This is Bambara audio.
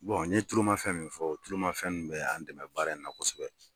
Bon n ye tuluma fɛn min fɔ, o tuluma fɛn nunnu bɛ y'an dɛmɛ baara in na kosɛbɛ.